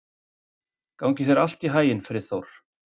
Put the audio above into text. Gangi þér allt í haginn, Friðþór.